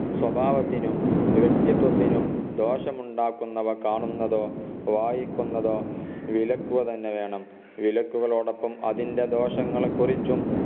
സ്വഭാവത്തിനും വ്യക്തിത്വത്തിനും ദോഷമുണ്ടാക്കുന്നവ കാണുന്നതോ വായിക്കുന്നതോ വിലക്കുക തന്നെ വേണം വിലക്കുകളോടൊപ്പം അതിൻറെ ദോഷങ്ങളെ കുറിച്ചും